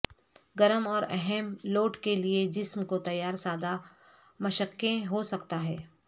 گرم اور اہم لوڈ کے لئے جسم کو تیار سادہ مشقیں ہو سکتا ہے